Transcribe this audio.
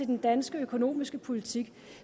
den danske økonomiske politik